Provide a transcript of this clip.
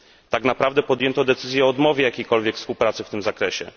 Tak naprawdę podjęto decyzję o odmowie jakiejkolwiek współpracy w tym zakresie.